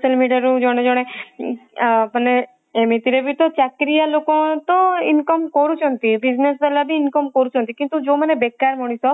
social media ରୁ ଜଣେ ଜଣେ ମାନେ ଏମିତି ରେ ବି ତ ଚାକିରିଆ ଲୋକ ତ income କରୁଛନ୍ତି business ୱାଲ ବି income କରୁଛନ୍ତି କିନ୍ତୁ ଯୋଊ ମାନେ ବେକାର ମଣିଷ